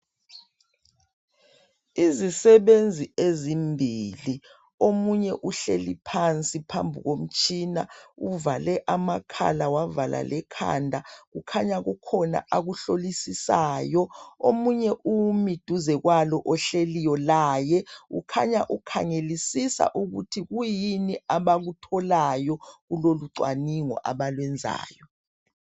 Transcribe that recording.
Izisebenzi ezimbili omunye uhleli phansi phambi komtshina uvale amakhala wavala lemakhanda kukhanya kukhona akuhlolisisayo omunye umi duze kalo ohleliyo laya ukhanya ukhangelisisa ukuthi kuyini abakutholayo kulolu cwaningo abalwenzayo.